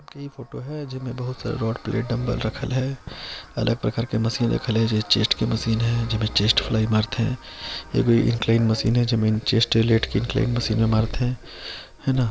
यही फोटो हैं जे में बहुत सारे रॉड पिलेट डम्बल रखल हैं अलग प्रकार के मशीन रखल हैं चेस्ट की मशीन हैं जेमें चेस्ट खुले आम मारत हैं ए कोई चेस्ट मशीन हैं चेस्ट लेत के मारत हैं।